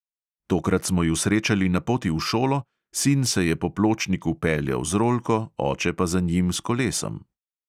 Tokrat smo ju srečali na poti v šolo, sin se je po pločniku peljal z rolko, oče pa za njim s kolesom.